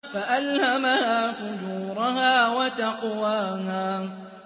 فَأَلْهَمَهَا فُجُورَهَا وَتَقْوَاهَا